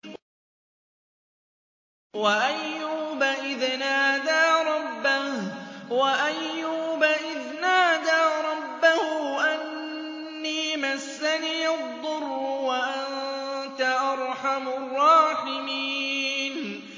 ۞ وَأَيُّوبَ إِذْ نَادَىٰ رَبَّهُ أَنِّي مَسَّنِيَ الضُّرُّ وَأَنتَ أَرْحَمُ الرَّاحِمِينَ